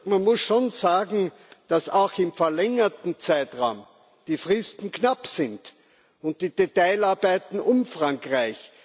Man muss sagen, dass auch im verlängerten Zeitraum die Fristen knapp sind und die Detailarbeiten umfangreich.